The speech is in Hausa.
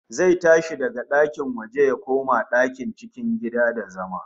Zai tashi daga ɗakin waje ya koma cikin gida da zama